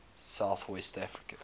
south west africa